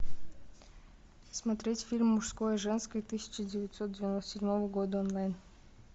смотреть фильм мужское женское тысяча девятьсот девяносто седьмого года онлайн